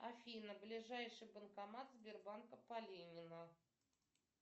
афина ближайший банкомат сбербанка по ленина